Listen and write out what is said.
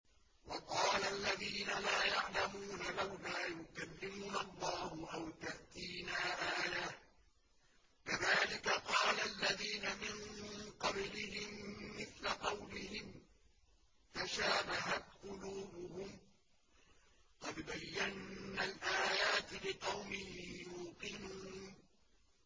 وَقَالَ الَّذِينَ لَا يَعْلَمُونَ لَوْلَا يُكَلِّمُنَا اللَّهُ أَوْ تَأْتِينَا آيَةٌ ۗ كَذَٰلِكَ قَالَ الَّذِينَ مِن قَبْلِهِم مِّثْلَ قَوْلِهِمْ ۘ تَشَابَهَتْ قُلُوبُهُمْ ۗ قَدْ بَيَّنَّا الْآيَاتِ لِقَوْمٍ يُوقِنُونَ